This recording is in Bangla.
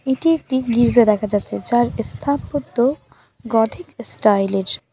এটি একটি গির্জা দেখা যাচ্ছে যার এস্থাপত্য গধিক স্টাইল এর।